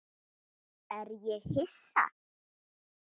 Er ég Hissa?